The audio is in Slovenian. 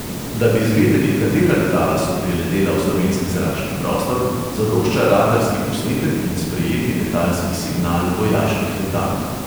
Da bi zvedeli, katera letala so priletela v slovenski zračni prostor, zadošča radarski posnetek in sprejeti letalski signal vojaških letal.